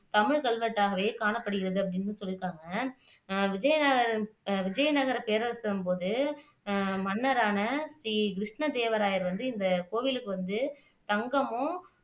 தமிழ் கல்வெட்டாவே காணப்படுகிறது அப்படின்னு சொல்லீருக்காங்க அஹ் விஜயநகர பேரரசின்போது அஹ் மன்னரான ஸ்ரீ கிருஸ்னதேவராயர் வந்து இந்த கோவிலுக்கு வந்து தங்கமும்